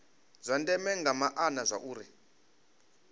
zwa ndeme nga maana zwauri